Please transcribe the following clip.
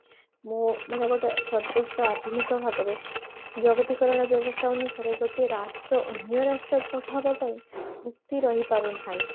ମୁଁ ମାନେ ଗୋଟେ ସଦୃଷ୍ଠ ଆଧୁନିକ ଭାବରେ ଜଗତୀକରଣ ବ୍ୟବସ୍ତା ଅନୁସାରେ ଗୋଟିଏ ରାଷ୍ଟ୍ର ଅନ୍ୟ ରାଷ୍ଟ୍ର ପ୍ରଭାବ ପାଇଁ ମୁକ୍ତି ରହି ପାରୁନାହିଁ